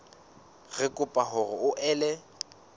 re kopa hore o ele